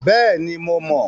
Bẹ́ẹ̀ni, mo mọ̀.